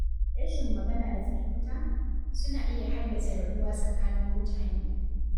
Rashin magana da fahimta, suna iya haddasa rabuwa tsakanin mutane.